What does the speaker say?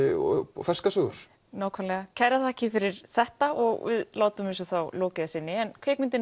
og ferskar sögur nákvæmlega kærar þakkir fyrir þetta og við látum þessu þá lokið að sinni en kvikmyndin